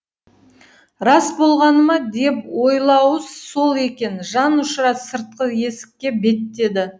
рас болғаны ма деп ойлауы сол екен жан ұшыра сыртқы есікке беттеді